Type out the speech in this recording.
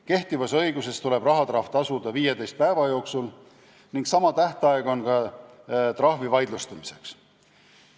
Kehtivas õiguses tuleb rahatrahv tasuda 15 päeva jooksul ning sama tähtaeg on ka trahvi vaidlustamiseks.